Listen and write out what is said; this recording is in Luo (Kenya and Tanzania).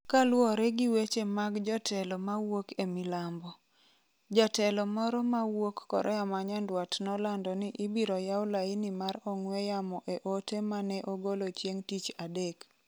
kaluwore gi weche mag jotelo ma wuok e milambo. Jatelo moro ma wuok Korea ma Nyanduat nolando ni ibiro yaw laini mar ong'we yamo e ote ma ne ogolo chieng' tich adek